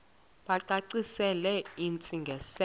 bacacisele intsi ngiselo